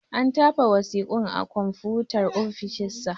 An tafa wasiƙun a konfutar ofishin sa.